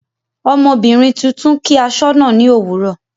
Ọmọbìnrin tuntun kí asọna ni òwúrọ̀.